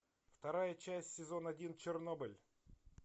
вторая часть сезон один чернобыль